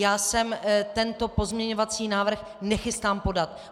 Já se tento pozměňovací návrh nechystám podat.